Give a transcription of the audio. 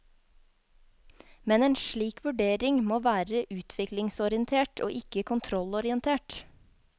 Men en slik vurdering må være utviklingsorientert og ikke kontrollorientert.